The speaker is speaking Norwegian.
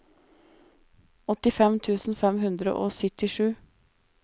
åttifem tusen fem hundre og syttisju